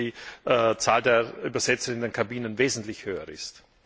Ich glaube, dass die Zahl der Übersetzer in den Kabinen wesentlich höher ist.